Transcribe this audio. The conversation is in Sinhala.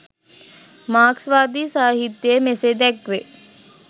මාක්ස්වාදී සාහිත්‍යයේ මෙසේ දැක්වේ